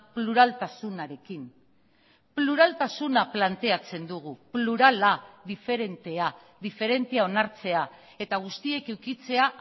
pluraltasunarekin pluraltasuna planteatzen dugu plurala diferentea diferentzia onartzea eta guztiek edukitzea